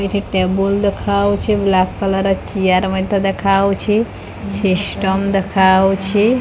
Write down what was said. ଏଟି table ଦେଖା ଯାଉଅଛି black colour chair ମଧ୍ୟ ଦେଖା ଯାଉଅଛି ସିଷ୍ଟମ୍ ଦେଖା ଯାଉଅଛି।